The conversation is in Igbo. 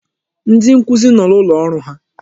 Ndi nkuzi no n'ụlọ ọrụ ha.